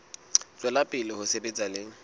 tswela pele ho sebetsa le